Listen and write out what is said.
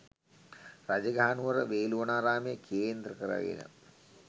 රජගහනුවර වේළුවනාරාමය කේන්ද්‍ර කරගෙන